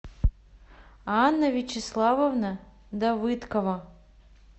анна вячеславовна давыдкова